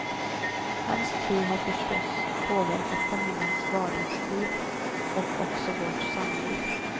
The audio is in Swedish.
Hans tro har förstås påverkat familjens vardagsliv och också vårt samliv.